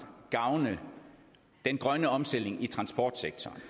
gavne den grønne omstilling i transportsektoren